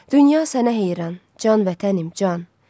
Dünya sənə heyran, can vətənim, can.